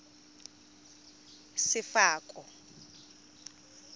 sefako